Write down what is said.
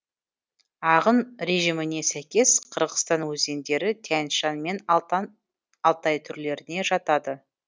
ағын режиміне сәйкес қырғызстан өзендері тянь шань мен алтай түрлеріне жатады